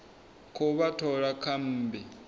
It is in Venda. khou vha thola kha mmbi